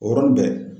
O yɔrɔnin bɛɛ